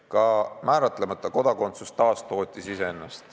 Ka määratlemata kodakondsus taastootis ennast.